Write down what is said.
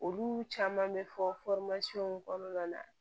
Olu caman bɛ fɔ in kɔnɔna na